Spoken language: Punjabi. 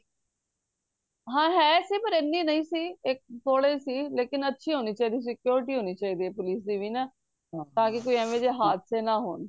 ਹਾਂ ਹੈ ਸੀ ਪਰ ਹਨੀ ਨਹੀਂ ਸੀ ਇੱਕ ਥੋੜੇ ਹੀ ਸੀ ਲੇਕਿਨ ਅੱਛੀ ਹੋਣੀ ਚਾਹੀਦੀ ਸੀ security ਹੋਣੀ ਚਾਹੀਦੀ ਏ police ਦੀ ਵੀ ਨਾ ਤਾਕਿ ਫੇਰ ਐਵੇ ਜੇ ਹਾਦਸੇ ਨਾ ਹੋਣ